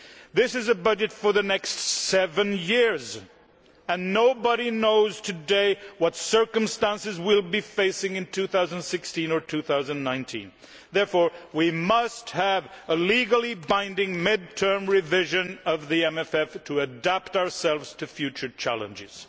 This is a budget for the next seven years, and nobody knows today what circumstances we will be facing in 2016 or 2019. Therefore, we must have a legally binding mid term revision of the MFF to adapt ourselves to future challenges.